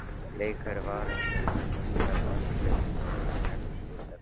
Bleikur varalitur myndar umgjörð um mjallhvítar tennur.